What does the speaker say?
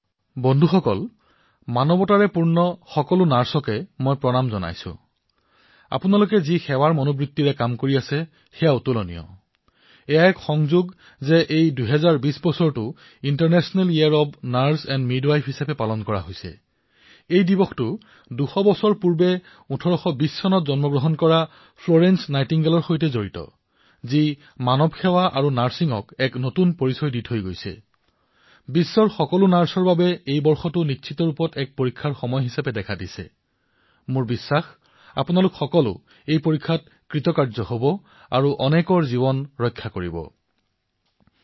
বন্ধুসকল মানৱতাৰে পৰিপূৰ্ণ প্ৰতিগৰাকী নাৰ্ছক আজি মই সেৱা জনাইছোআপোনালোকে যি সেৱা মনোভাৱেৰে কাম কৰি আছে সেয়া অতুলনীয়এয়া এক আচৰিত সংযোগ যে ২০২০ বৰ্ষটো সমগ্ৰ বিশ্বই নাৰ্ছ আৰু মিডৱাইফৰ আন্তৰ্জাতিক বৰ্ষ হিচাপে পালন কৰি আছেইয়াৰ সম্পৰ্ক ২০০ বছৰ আগেয়ে ১৮২০ চনত জন্ম গ্ৰহণ কৰা ফ্লৰেন্স নাইটিংগেলৰ সৈতে আছেযিয়ে মানৱ সেৱাক নাৰ্ছিঙক এক নতুন পৰিচয় প্ৰদান কৰিছিলএক নতুন উচ্চতাত অৱৰোহণ কৰাইছিলবিশ্বৰ প্ৰতিগৰাকী নাৰ্ছৰ সেৱা মনোভাৱক সমৰ্পিত এই বৰ্ষটো নিশ্চিত ভাৱে নাৰ্ছিং সমাজৰ বাবে এক বৃহৎ পৰীক্ষা হিচাপে উদ্ভাসিত হৈছেমোৰ বিশ্বাস যে আপোনালোক সকলোৱে এই পৰীক্ষাত সফলতাৰে উত্তীৰ্ণ হব আৰু অনেক লোকৰ জীৱনো ৰক্ষা কৰিব পাৰিব